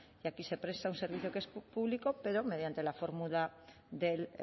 y aquí se presta un servicio que es público pero mediante la fórmula del